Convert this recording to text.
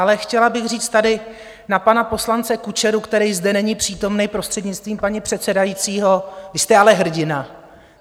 Ale chtěla bych říct tady na pana poslance Kučeru, který zde není přítomen, prostřednictvím paní předsedající: Vy jste ale hrdina!